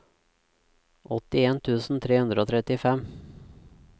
åttien tusen tre hundre og trettifem